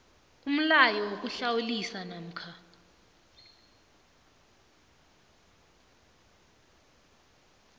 umlayo wokuhlawulisa namkha